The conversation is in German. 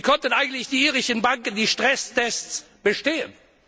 Wie konnten eigentlich die irischen Banken die Stresstests bestehen?